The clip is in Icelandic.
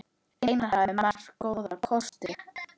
Einar hafði marga góða kosti.